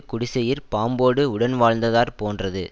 குடிசையிற் பாம்போடு உடன்வாழ்ந்தாற் போன்றது